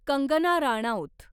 Kangana Ranaut